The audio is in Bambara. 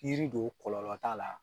Yiri don kɔlɔlɔ t'a la.